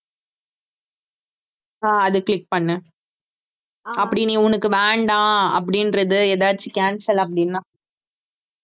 ஆஹ் அதை click பண்ணு, அப்படி நீ உனக்கு வேண்டாம் அப்படின்றது ஏதாச்சும் cancel அப்படின்னா